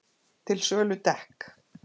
Til sölu dekk